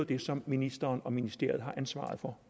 det som ministeren og ministeriet har ansvaret for